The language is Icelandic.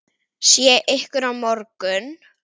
Sé ykkur á morgun.